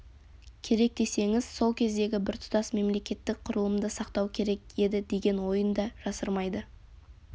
керек десеңіз сол кездегі біртұтас мемлекеттік құрылымды сақтау керек еді деген ойын да жасырмайды